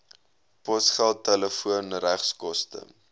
posgeld telefoon regskoste